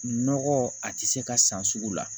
Nɔgɔ a tɛ se ka san sugu la